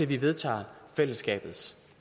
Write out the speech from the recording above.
vi vedtager fællesskabets